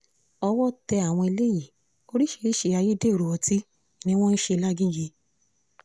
owó tẹ àwọn eléyìí oríṣiríṣiì ayédèrú ọtí ni wọ́n ń ṣe làgẹ́gẹ́